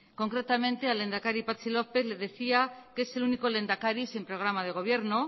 concretamente al lehendakari patxi lópez le decía que el único lehendakari sin programa de gobierno